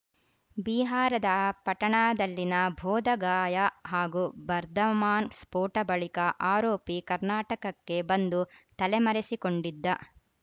ಬಿಹಾರದ ಪಟನಾದಲ್ಲಿನ ಬೋಧಗಾಯಾ ಹಾಗೂ ಬರ್ಧಮಾನ್‌ ಸ್ಫೋಟ ಬಳಿಕ ಆರೋಪಿ ಕರ್ನಾಟಕಕ್ಕೆ ಬಂದು ತಲೆಮರೆಸಿಕೊಂಡಿದ್ದ